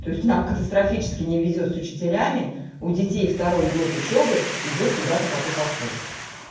то есть нам катастрофически не везёт с учителями у детей второй год учёбы идёт куда-то коту под хвост